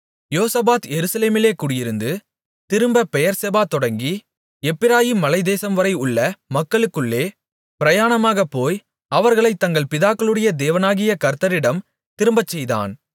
யோசபாத் எருசலேமிலே குடியிருந்து திரும்ப பெயர்செபா தொடங்கி எப்பிராயீம் மலைத்தேசம்வரை உள்ள மக்களுக்குள்ளே பிரயாணமாகப் போய் அவர்களைத் தங்கள் பிதாக்களுடைய தேவனாகிய கர்த்தரிடம் திரும்பச்செய்தான்